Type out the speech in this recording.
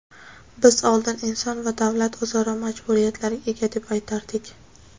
Biz oldin inson va davlat o‘zaro majburiyatlarga ega deb aytardik.